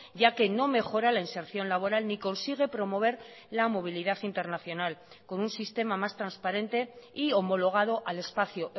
ya que no mejora la inserción laboral ni consigue promover la movilidad internacional con un sistema más transparente y homologado al espacio